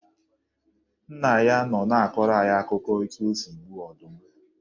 Nna ya nọ na-akọrọ anyị akụkọ etu o si gbuo ọdụm.